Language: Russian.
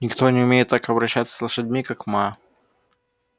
никто не умеет так обращаться с лошадьми как ма